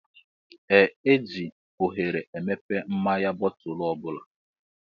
Ee eji oghere emepe mmáñyá bootulu ọbula.